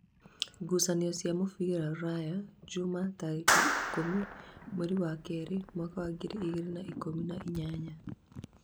ngucanio cia mũbira rũraya, njuma tarĩki ikũmi mweri wa kerĩ mwaka wa ngiri igĩri na ikũmi na inyanya